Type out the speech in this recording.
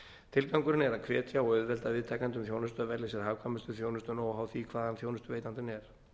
tilgangurinn er að hvetja og auðvelda viðtakendum þjónustu að velja sér hagkvæmustu þjónustuna óháð því hvaðan þjónustuveitandinn er